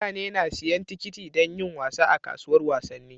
Mutane na siyan tikiti dan yin wasa a kasuwar wasanni